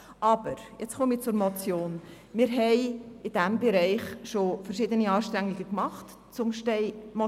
Aber wir haben in diesem Bereich schon verschiedene Anstrengungen unternommen.